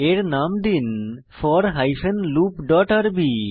এর নাম দিন ফোর হাইফেন লুপ ডট আরবি